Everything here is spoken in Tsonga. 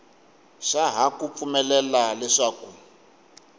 xa ha ku pfumelela leswaku